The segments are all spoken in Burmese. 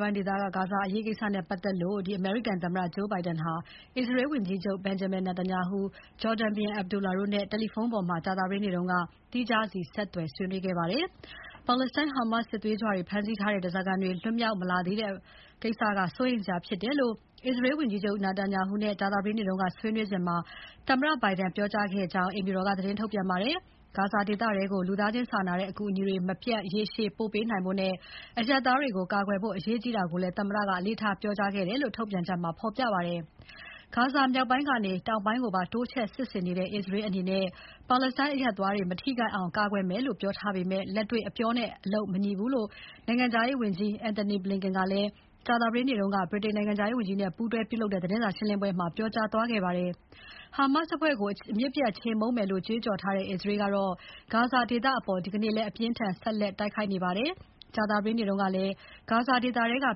ပိုင်း ဂါဇာဒေသအရေးကို အမေရိကန်သမ္မတ Joe Biden က အစ္စရေးဝန်ကြီးချုပ် Benjamin Netanyahu၊ ဂျော်ဒန်ဘုရင် Abdullah တို့နဲ့ တယ်လီဖုန်းပေါ်မှာ သီးခြားစီ ဆက်သွယ် ဆွေးနွေးခဲ့ပါတယ်။ ပါလက်စတိုင်း Hamas စစ်သွေးကြွတွေ ဖမ်းဆီးထားတဲ့ ဓါးစာခံတွေ လွတ်မြောက် မလာသေးတာ စိုးရိမ်စရာဖြစ်တယ်လို့ အစ္စရေးဝန်ကြီးချုပ် Netanyahu နဲ့ ကြာသပတေးနေ့က ဆွေးနွေးစဉ် သမ္မတ Biden က ပြောကြားခဲ့ကြောင်း အိမ်ဖြူတော်က သတင်းထုတ်ပြန်ပါတယ်။ ဂါဇာဒေသထဲကို လူသားချင်းစာနာတဲ့အကူအညီတွေ မပြတ် ရေရှည် ပို့ပေးနိုင်ဖို့နဲ့ အရပ်သားတွေကို ကာကွယ်ဖို့ အရေးကြီးတာကိုလည်း သမ္မတက အလေးထားပြောကြားခဲ့တယ်လို့ ထုတ်ပြန်ချက်မှာ ဖော်ပြပါတယ်။ ဂါဇာမြောက်ပိုင်းကနေ တောင်ပိုင်းကိုပါ တိုးချဲ့စစ်ဆင်နေတဲ့ အစ္စရေးအနေနဲ့ ပါလက်စတိုင်းအရပ်သားတွေ မထိခိုက်အောင် ကာကွယ်မယ်လို့ ပြောထားပေမဲ့ လက်တွေ့အပြောနဲ့ အလုပ် မညီဘူးလို့ နိုင်ငံခြားရေးဝန်ကြီး Antony Blinken ကလည်း ကြာသပတေးနေ့က ဗြိတိန်နိုင်ငံခြားရေးဝန်ကြီးနဲ့ပူးတွဲပြုလုပ်တဲ့ သတင်းစာရှင်းပွဲမှာ ပြောကြားသွားခဲ့ပါတယ်။ Hamas အဖွဲ့ကို အမြစ်ပြတ်ချေမှုန်းသွားမယ်လို့ ကြွေးကြော်ထားတဲ့ အစ္စရေးက ဂါဇာဒေသအပေါ် ဒီနေ့လည်း အပြင်းအထန် ဆက်လက် တိုက်ခိုက်နေပါတယ်။ ကြာသပတေးနေ့ကလည်း ဂါဇာဒေသထဲက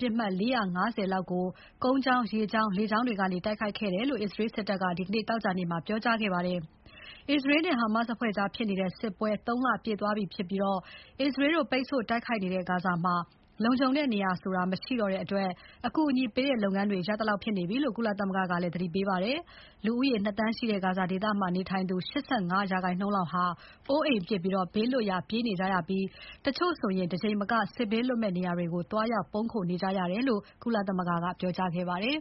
ပစ်မှတ် ၄၅၀ လောက်ကို ကုန်းကြောင်း၊ ရေကြောင်း၊ လေကြောင်းတွေကနေ တိုက်ခိုက်ခဲ့တယ်လို့ အစ္စရေးစစ်တပ်က ဒီနေ့ သောကြာနေ့မှာ ပြောကြားခဲ့ပါတယ်။ အစ္စရေးနဲ့ Hamas အဖွဲ့ကြားဖြစ်နေတဲ့ စစ်ပွဲ ၃ လပြည့်သွားပြီဖြစ်ပြီး အစ္စရေးတို့ပိတ်ဆို့ တိုက်ခိုက်နေတဲ့ ဂါဇာမှာ လုံခြုံတဲ့နေရာဆိုတာ မရှိတော့တဲ့အတွက် အကူအညီပေးတဲ့လုပ်ငန်းတွေ ရပ်သလောက်ဖြစ်နေပြီလို့ ကုလသမဂ္ဂက သတိပေးခဲ့ပါတယ်။ လူဦးရေ ၂ သန်းရှိတဲ့ ဂါဇာဒေသမှာနေသူ ၈၅ ရာခိုင်နှုန်းလောက် အိုးအိမ်ပစ် ဘေးလွတ်ရာ ပြေးနေကြရပြီး တချို့ဆို တကြိမ်မက စစ်ဘေးလွတ်မယ့်နေရာတွေကို သွားရောက် ပုန်းခိုနေကြရတယ်လို့ ကုလသမဂ္ဂက ပြောကြားခဲ့ပါတယ်